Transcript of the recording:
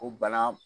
O bana